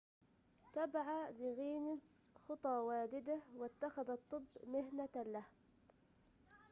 تبع ليغينز خطى والده واتخذ الطب مهنة له